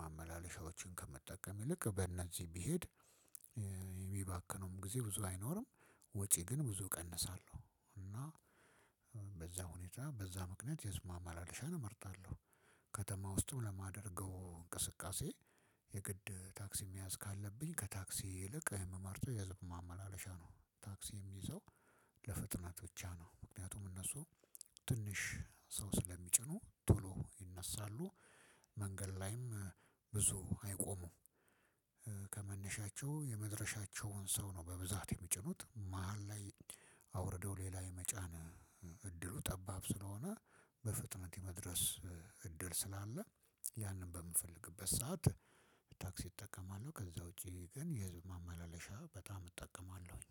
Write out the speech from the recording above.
ማመላለሻዎችን ከመጠቀም ይልቅ በእነዚህ ቢሄድ ሚባክነውም ጊዜ ብዙ አይኖርም ወጪ ግን ብዙ እቀንሳለሁ እና በዛ ሁኔታ በዛ ምክንያት የህዝብ ማመላለሻን እመርጣለሁ። ከተማ ውስጥም ለማደርገው እንቅስቃሴ የግድ ታክሲ መያዝ ካለብኝ ከታክሲ ይልቅ የምመርጠው የህዝብ ማመላለሻ ነው። ታክሲ የምይዘው ለፍጥነት ብቻ ነው ምክንያቱም እነሱ ትንሽ ሰው ስለሚጭኑ ቶሎ ይነሳሉ መንገድ ላይም ብዙ አይቆሙም። ከመነሻቸው የመድረሻቸውን ሰው ነው በብዛት የሚጭኑት መሃል ላይ አውርደው ሌላ የመጫን እድሉ ጠባብ ስለሆነ በፍጥነት የመድረስ እድል ስላለ ያንን በምፈልግበት ሰዓት ታክሲ እጠቀማለሁ ከዛ ውጭ ግን የ ህዝብ ማመላለሻ በጣም እጠቀማለሁኝ።